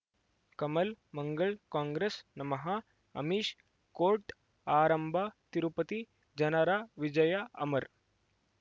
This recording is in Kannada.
ಕಮಲ್ ಮಂಗಳ್ ಕಾಂಗ್ರೆಸ್ ನಮಃ ಅಮಿಷ್ ಕೋರ್ಟ್ ಆರಂಭ ತಿರುಪತಿ ಜನರ ವಿಜಯ ಅಮರ್